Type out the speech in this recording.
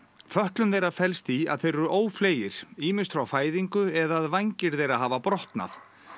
fötlun þeirra felst í að þeir eru ófleygir ýmist frá fæðingu eða að vængir þeirra hafa brotnað